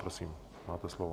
Prosím, máte slovo.